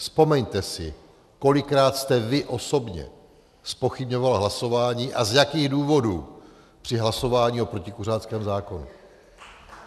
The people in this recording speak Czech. Vzpomeňte si, kolikrát jste vy osobně zpochybňoval hlasování a z jakých důvodů při hlasování o protikuřáckém zákonu.